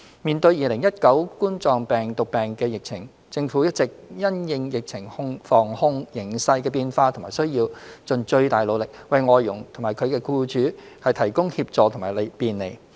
面對2019冠狀病毒病疫情，政府一直因應疫情防控形勢的變化和需要，盡最大努力為外傭和其僱主提供協助和便利。